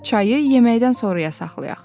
Çayı yeməkdən sonraya saxlayaq.